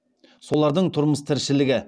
соларды тұрмыс тіршілігі